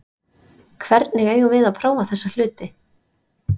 Hvernig eigum við að prófa þessa hluti?